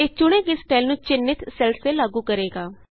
ਇਹ ਚੁਣੇ ਗਏ ਸਟਾਈਲ ਨੂੰ ਚਿੰਨ੍ਹਿਤ ਸੈੱਲਸ ਤੇ ਲਾਗੂ ਕਰੇਗਾ